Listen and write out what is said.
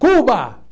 Cuba!